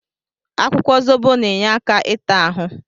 Akwụkwọ zobo na-enye aka ịta ahụ.